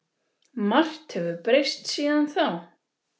Margt hefur breyst síðan þá.